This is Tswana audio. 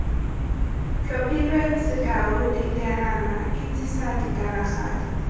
tlhophilweng sekao diterama ketsisa tiragalo